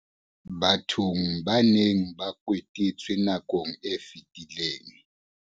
Bathong ba neng ba kotetswe nakong e fetileng.